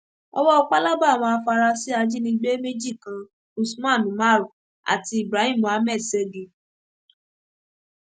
owó pálábá àwọn àfarasí ajínigbé méjì kan usman umaru àti ibrahim muhammed ségi